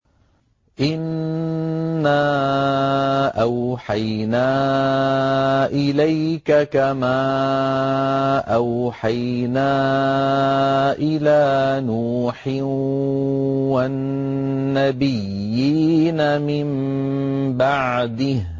۞ إِنَّا أَوْحَيْنَا إِلَيْكَ كَمَا أَوْحَيْنَا إِلَىٰ نُوحٍ وَالنَّبِيِّينَ مِن بَعْدِهِ ۚ